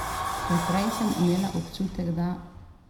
Ker prej sem imela bolj občutek, da ...